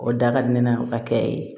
O da ka di ne na ka kɛ yen